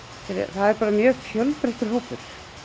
er mjög fjölbreyttur hópur